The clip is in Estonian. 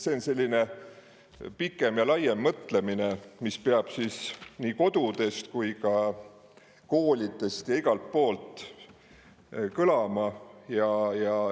See on selline pikem ja laiem mõtlemine, mis peab kodudes, koolides ja igal pool mujal kõlama.